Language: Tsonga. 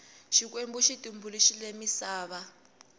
xikwembu xi tumbuluxile misava